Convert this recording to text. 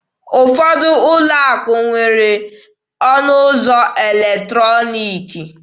Ụfọdụ ụlọ akụ na-enwe ọnụ ụzọ eletrọniki.